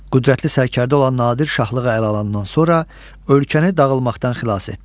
Qüdrətli sərkərdə olan Nadir Şahlığı ələ alandan sonra ölkəni dağılmaqdan xilas etdi.